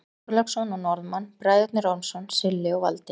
Þorláksson og Norðmann, Bræðurnir Ormsson, Silli og Valdi.